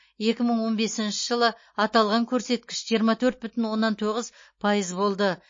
екі мың он бесінші жылы аталған көрсеткіш жиырма төрт бүтін оннан тоғыз пайыз болды